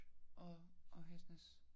Og og Hesnæs